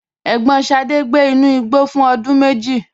Ẹ̀gbọ́n Sade gbé inú igbó fún ọdún méjì.